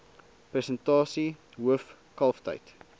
persentasie hoof kalftyd